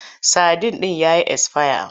Sadin ɗin ya yi esfaya.